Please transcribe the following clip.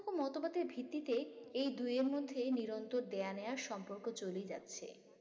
মতবাদের ভিত্তিতে এই দুইয়ের মধ্যে নিরন্তর দেয়া নেয়ার সম্পর্ক চলেই যাচ্ছে